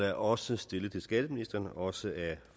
er også stillet til skatteministeren også af